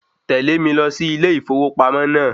Tẹ̀lẹ́ mi lọ sí ilé ìfowópamọ́ naa